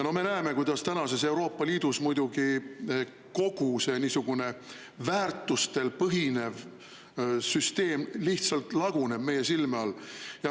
Me näeme, kuidas tänases Euroopa Liidus muidugi kogu see väärtustel põhinev süsteem lihtsalt laguneb meie silme all.